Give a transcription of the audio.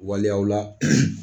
Waliyaw la